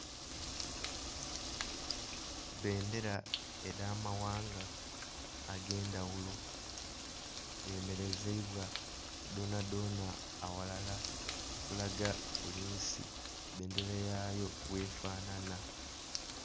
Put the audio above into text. Bendera eda mawanga agendawulo demerezeibwa donadona awalala okulaga buli nsi bendera yayo bwefanana